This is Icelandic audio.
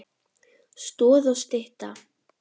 Stoð og stytta.